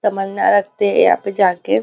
तमन्ना रखते हैं यहाँ पे जाके।